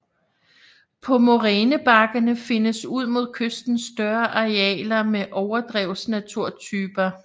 På morænebakkerne findes ud mod kysten større arealer med overdrevsnaturtyper